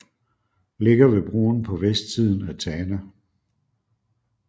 Ligger ved broen på vestsiden af Tana